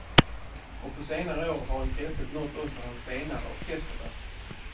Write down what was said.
Och på senare år har intresset nått också hans senare orkesterverk.